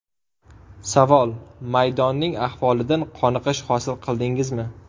Savol: Maydonning ahvolidan qoniqish hosil qildingizmi?